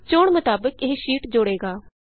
ਚੋਣ ਮੁਤਾਬਿਕ ਇਹ ਸ਼ੀਟ ਇੰਸਰਟ ਹੋਵੇਗੀ